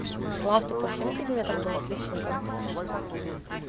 слав ты по всем предметам был отличником